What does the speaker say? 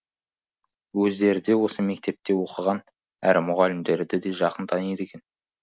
өздері де осы мектепте оқыған әрі мұғалімдерді де жақын таниды екен